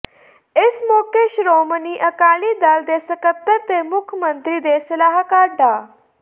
ਇਸ ਮੌਕੇ ਸ਼੍ਰੋਮਣੀ ਅਕਾਲੀ ਦਲ ਦੇ ਸਕੱਤਰ ਤੇ ਮੁੱਖ ਮੰਤਰੀ ਦੇ ਸਲਾਹਕਾਰ ਡਾ